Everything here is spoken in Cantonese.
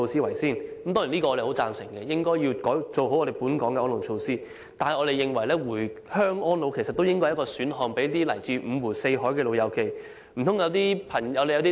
我們當然十分贊成當局應先改善本港的安老措施，但我們認為，回鄉安老也是為來自五湖四海的朋友提供的一個選項。